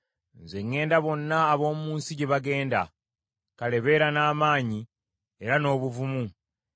“Nze ŋŋenda bonna ab’omu nsi gye bagenda, kale beera n’amaanyi era n’obuvumu,